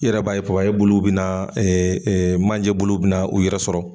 I yɛrɛ b'a ye buluw bina manje bulu bina u yɛrɛ sɔrɔ.